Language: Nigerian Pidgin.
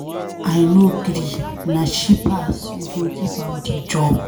I no gree, na she pass, we go give am the job.